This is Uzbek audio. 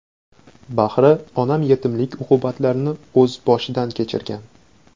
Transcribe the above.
Bahri onam yetimlik uqubatlarini o‘z boshidan kechirgan.